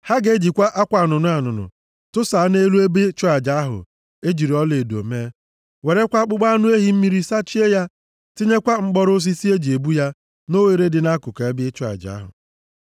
“Ha ga-ejikwa akwa anụnụ anụnụ tụsaa nʼelu ebe ịchụ aja ahụ e jiri ọlaedo mee, werekwa akpụkpọ anụ ehi mmiri sachie ya, tinyekwa mkpọrọ osisi e ji ebu ya nʼoghere dị nʼakụkụ ebe ịchụ aja ahụ.